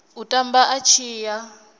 u tamba a tshi ya